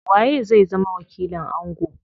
Waye zai zama wakilin ango?